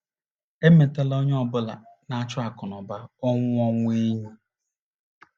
Emetela onye ọ bụla na - achụ akụnụba ọnwụ ọnwụ enyi.